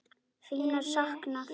Þín er saknað.